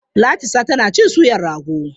Latisa tana cin suyar rago.